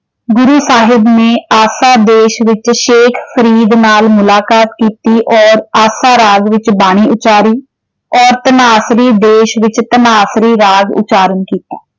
ਗੁਰੂ ਸਾਹਿਬ ਨੇ ਆਸਾ ਦੇਸ਼ ਵਿੱਚ ਸ਼ੇਖ ਫਰੀਦ ਨਾਲ ਮੁਲਾਕਾਤ ਕੀਤੀ ਔਰ ਆਸਾ ਰਾਜ਼ ਵਿੱਚ ਬਾਣੀ ਉਚਾਰੀ, ਔਰ ਧਨਾਸਰੀ ਦੇਸ਼ ਵਿੱਚ ਧਨਾਸਰੀ ਰਾਗ ਉਚਾਰਨ ਕੀਤਾ।